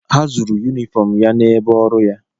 Ha zuuru yunifọm ya n'ebe ọrụ ya.